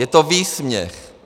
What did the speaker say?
Je to výsměch.